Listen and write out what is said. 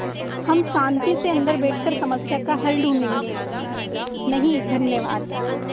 हम शान्ति से अन्दर बैठकर समस्या का हल ढूँढ़े गे नहीं धन्यवाद